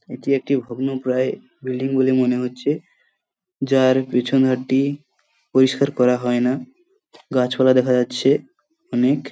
এটি একটি ভগ্নপ্রায় বিল্ডিং বলে মনে হচ্ছে যার পিছন ঘরটি পরিষ্কার করা হয়না গাছপালা দেখা যাচ্ছে অনেক